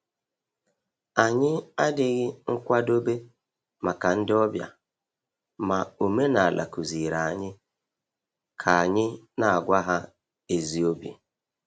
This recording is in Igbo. Anyị adịghị nkwadobe maka ndị ọbịa, ma omenala kụziiri anyị ka anyị na-agwa ha ezi obi.